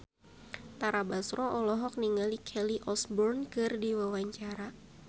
Tara Basro olohok ningali Kelly Osbourne keur diwawancara